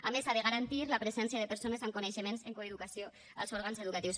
a més ha de garantir la presència de persones amb coneixements en coeducació als òrgans educatius